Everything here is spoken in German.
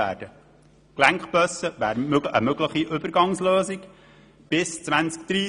Gelenkbusse könnten eine mögliche Übergangslösung sein.